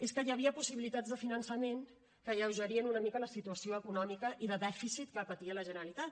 és que hi havia possibilitats de finançament que alleugerien una mica la situació econòmica i de dèficit que patia la generalitat